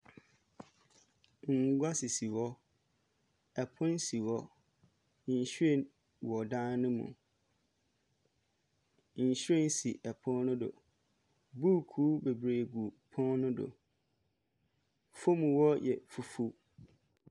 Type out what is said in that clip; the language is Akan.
Nkonnwa sisi hɔ ɛpono si hɔ nhwiren wɔ dan ne mu nhwiren si ɛpono no do booku gu ɛpono no do fom wɔ yɛ fofoɔ.